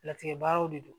Latigɛ baaraw de don